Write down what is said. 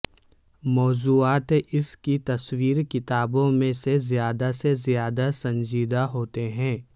موضوعات اس کی تصویر کتابوں میں سے زیادہ سے زیادہ سنجیدہ ہوتے ہیں